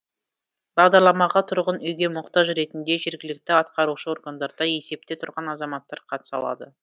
бағдарламаға тұрғын үйге мұқтаж ретінде жергілікті атқарушы органдарда есепте тұрған азаматтар қатыса алады